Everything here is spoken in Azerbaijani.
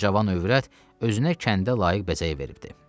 Bu cavan övrət özünə kəndə layiq bəzək vermişdi.